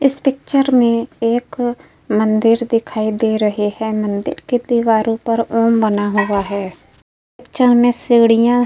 इस पिक्चर में एक मंदिर दिखाई दे रहे हैं। मंदिर के दीवारो पर औम बना हुआ है। पिक्चर में सीढ़ियाँ --